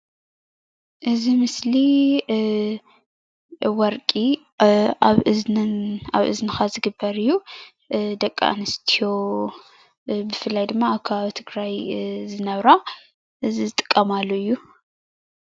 እዚ ምስሊ ወርቂ ኣብ እዝንካ ዝግበር እዩ፡፡ ደቀ ኣነስትዮ ብፍላይ ድማ ኣብ ከባቢ ትግራይ ዝነብራ እዚ ዝጥቀማሉ እዩ፡፡